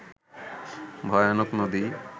ভয়ানক নদী